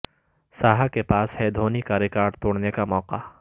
ساہا کے پاس ہے دھونی کا ریکارڈ توڑنے کا موقع